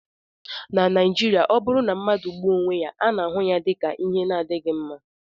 na Naijiria, ọ bụrụ na mmadụ gbuo onwe ya, a na-ahụ ya dị ka ihe na-adịghị mma